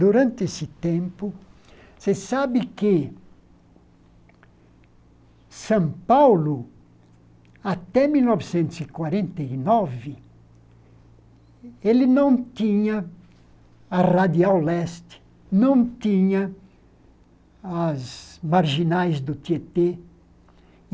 Durante esse tempo, você sabe que São Paulo, até mil novecentos e quarenta e nove, ele não tinha a Radial Leste, não tinha as marginais do Tietê.